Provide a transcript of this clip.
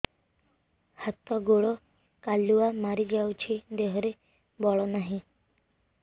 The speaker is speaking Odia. ହାତ ଗୋଡ଼ କାଲୁଆ ମାରି ଯାଉଛି ଦେହରେ ବଳ ନାହିଁ